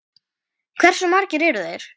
Hversu margir eru þeir?